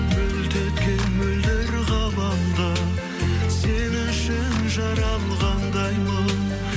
мөлт еткен мөлдір ғаламда сен үшін жаралғандаймын